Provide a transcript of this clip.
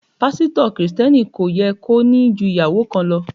Pásítọ̀ Kristẹni kò yẹ kó ní ju ìyàwó kan lọ.